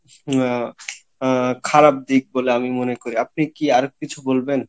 আহ খারাপ দিক বলে আমি মনে করি আপনি কি আর কিছু বলবেন?